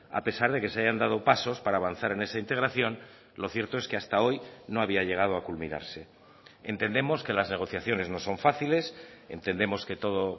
a pesar de que se hayan dado pasos para avanzar en esa integración lo cierto es que hasta hoy no había llegado a culminarse entendemos que las negociaciones no son fáciles entendemos que todo